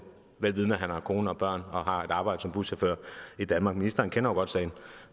han har kone og børn og har et arbejde som buschauffør i danmark ministeren kender jo godt sagen